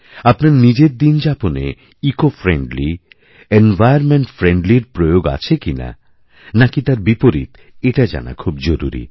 আপনার নিজের দিনযাপনে ইকোফ্রেন্ডলি এনভাইরনমেন্টফ্রেন্ডলি র প্রয়োগ আছে কিনা না কি তারবিপরীত এটা জানা খুব জরুরী